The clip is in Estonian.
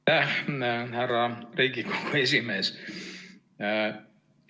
Aitäh, härra Riigikogu esimees!